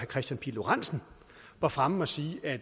kristian pihl lorentzen var fremme og sige at